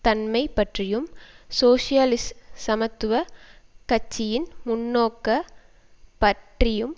தன்மை பற்றியும் சோசியலிச சமத்துவ கட்சியின் முன்னோக்க பற்றியும்